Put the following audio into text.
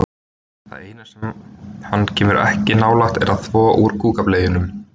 Það eina sem hann kemur ekki nálægt er að þvo úr kúkableyjunum.